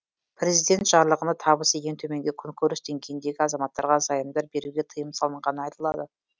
президент жарлығында табысы ең төменгі күнкөріс деңгейіндегі азаматтарға займдар беруге тыйым салынғаны айтылды